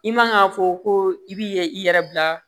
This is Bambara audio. I man ka fɔ ko i bi i yɛrɛ bila